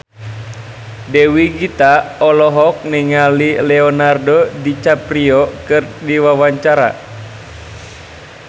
Dewi Gita olohok ningali Leonardo DiCaprio keur diwawancara